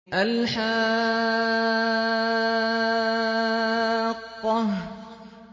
الْحَاقَّةُ